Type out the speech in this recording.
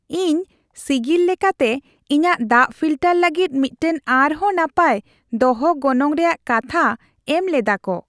ᱤᱧ ᱥᱤᱜᱤᱞ ᱞᱮᱠᱟᱛᱮ ᱤᱧᱟᱹᱜ ᱫᱟᱜ ᱯᱷᱤᱞᱴᱟᱨ ᱞᱟᱹᱜᱤᱫ ᱢᱤᱫᱴᱟᱝ ᱟᱨ ᱦᱚᱸ ᱱᱟᱯᱟᱭ ᱫᱚᱦᱚ ᱜᱚᱱᱚᱝ ᱨᱮᱭᱟᱜ ᱠᱟᱛᱷᱟ ᱮᱢ ᱞᱮᱫᱟ ᱠᱚ ᱾